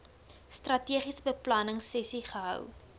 strategiese beplanningsessies gehou